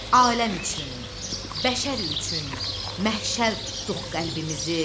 Aləm üçün, bəşər üçün məşəl tutduq qəlbimizi.